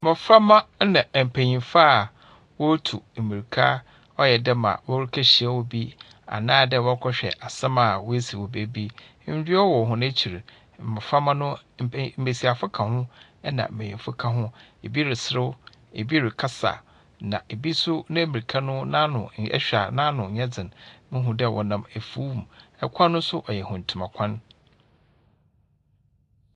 Mmɔframba na mpenyimfo a wɔretu mmiraka, ayɛ dɛ ma wɔrekɔhyia obi anaadɛ wɔrekɔhwɛ asɛm a asi wɔ baabi. Nnua wɔ hɔn akyir. Mmoframba no, mbesiafo ka ho na mbeyimfo ka ho. Ebi reserew. Ebi rekasa. Na obi ne mmirika no n'ano, ihwɛ a n'ano nyɛ dzen. Mohu dɛ wɔnam afuw mu, kwan no so ɔyɛ mfuntama kwan.